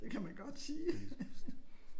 Det kan man godt sige